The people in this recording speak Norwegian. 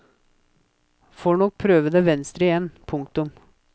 Får nok prøve det venstre igjen. punktum